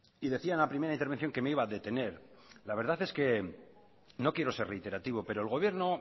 y decía en la primera intervención que me iba a detener la verdad es que no quiero ser reiterativo pero el gobierno